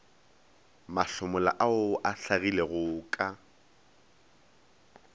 mahlomola ao a hlagilego ka